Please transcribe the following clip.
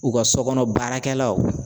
U ka so kɔnɔ baarakɛlaw